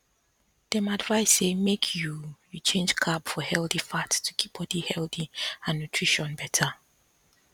dem advise say make you you change carb for healthy fat to keep body healthy and nutrition better